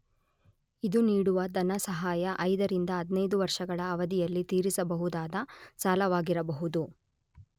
ಇದು ನೀಡುವ ಧನಸಹಾಯ 5 ರಿಂದ 15 ವರ್ಷಗಳ ಅವಧಿಯಲ್ಲಿ ತೀರಿಸಬಹುದಾದ ಸಾಲವಾಗಿರಬಹುದು.